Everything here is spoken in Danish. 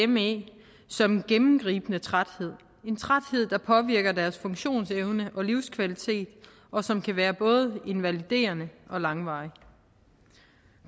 me som en gennemgribende træthed en træthed der påvirker deres funktionsevne og livskvalitet og som kan være både invaliderende og langvarig